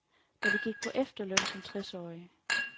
De gik på efterløn som tres årige.